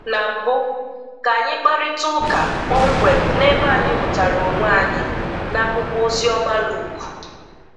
Na mbụ, ka anyị kparịtaa ụka kpọmkwem n'ebe anyị hụtara onwe anyị n'akwụkwọ oziọma Luke.